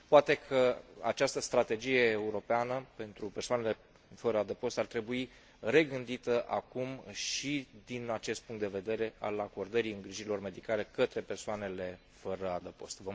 Poate că această strategie europeană pentru persoanele fără adăpost ar trebui regândită acum și din acest punct de vedere, și anume al acordării îngrijirilor medicale către persoanele fără adăpost.